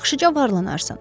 Yaxşıca varlanarsan.